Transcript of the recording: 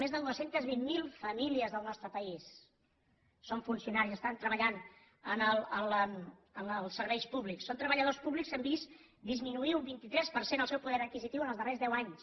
més de dos cents i vint miler famílies del nostre país són funcionaris i estan treballant en els serveis públics són treballadors públics que han vist disminuir un vint tres per cent el seu poder adquisitiu els darrers deu anys